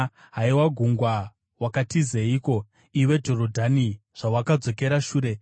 Haiwa gungwa, wakatizeiko, iwe Jorodhani zvawakadzokera shure,